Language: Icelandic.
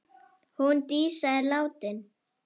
Hún Dísa er látin!